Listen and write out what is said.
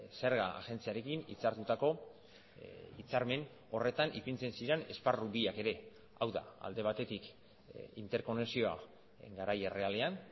zerga agentziarekin hitzartutako hitzarmen horretan ipintzen ziren esparru biak ere hau da alde batetik interkonexioa garai errealean